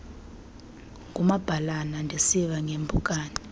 ngumabhalana ndisiva ngeeempukane